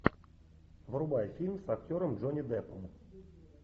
врубай фильм с актером джонни деппом